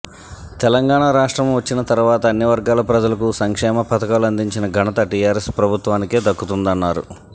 తెలంగాణ రాష్ట్రం వచ్చిన తర్వాత అన్ని వర్గాల ప్రజలకు సంక్షేమ పథకాలు అందించిన ఘనత టిఆర్ఎస్ ప్రభుత్వానికే దక్కుతుందన్నారు